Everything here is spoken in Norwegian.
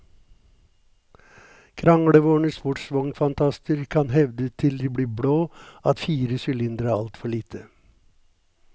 Kranglevorne sportsvognfantaster kan hevde til de blir blå at fire sylindre er altfor lite.